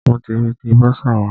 Mo ti ń retí bọ́sà wa.